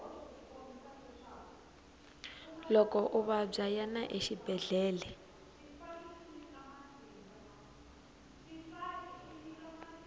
loko u vabya yana exibedele